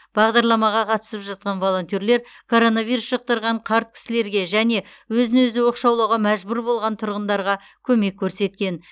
бағдарламаға қатысып жатқан волонтерлер коронавирус жұқтырған қарт кісілерге және өзін өзі оқшаулауға мәжбүр болған тұрғындарға көмек көрсеткен